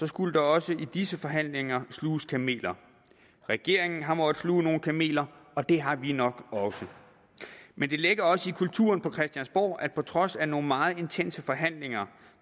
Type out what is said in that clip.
skulle der også i disse forhandlinger sluges kameler regeringen har måttet sluge nogle kameler og det har vi nok også men det ligger også i kulturen på christiansborg at på trods af nogle meget intense forhandlinger